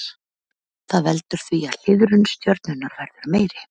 Það veldur því að hliðrun stjörnunnar verður meiri.